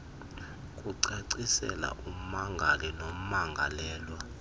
kucacisela ummangali nommangalelwa